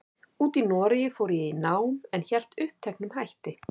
úti í Noregi fór ég í nám, en hélt uppteknum hætti.